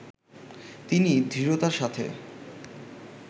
তিনি দৃঢ়তার সাথে